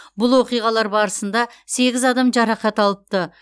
бұл оқиғалар барысында сегіз адам жарақат алыпты